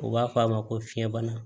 U b'a fɔ a ma ko fiɲɛ bana